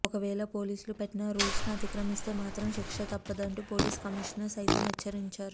ఒకవేళ పోలీసులు పెట్టిన రూల్స్ ను అతిక్రమిస్తే మాత్రం శిక్ష తప్పదు అంటూ పోలీస్ కమీషనర్ సైతం హెచ్చరించారు